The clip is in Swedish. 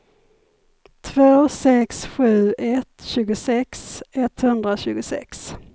två sex sju ett tjugosex etthundratjugosex